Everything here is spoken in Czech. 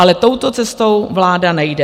Ale touto cestou vláda nejde.